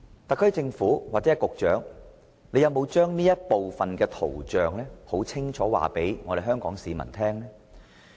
特區政府或局長有否把這圖像清楚告知香港市民呢？